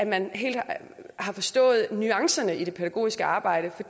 man helt har forstået nuancerne i det pædagogiske arbejde for